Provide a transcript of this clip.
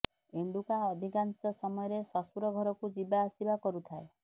ଏଣ୍ଡୁକା ଅଧିକାଶଂ ସମୟରେ ଶ୍ୱଶୁର ଘରକୁ ଯିବା ଆସିବା କରୁଥାଏ